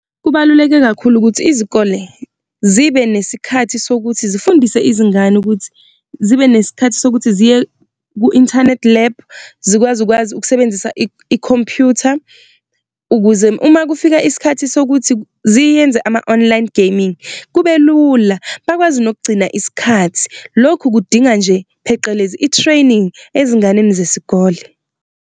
Kubaluleke kakhulu ukuthi izikole zibe nesikhathi sokuthi zifundise izingane ukuthi zibe nesikhathi sokuthi ziye ku-internet lab zikwazi ukwazi ukusebenzisa ikhompyutha, ukuze uma kufike isikhathi sokuthi ziyenze ama-online gaming kube lula, bakwazi nokugcina isikhathi. Lokhu kudinga nje phecelezi i-training ezinganeni zesikole.